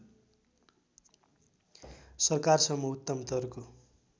सरकारसम्म उत्तमतरको